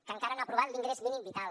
que encara no ha aprovat l’ingrés mínim vital